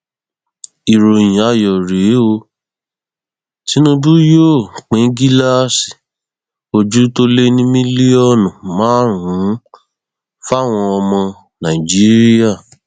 ìròyìn ayọ rèé o tìnùbù yóò pín gíláàsì ojú tó lé ní mílíọnù márùnún fáwọn ọmọ nàìjíríà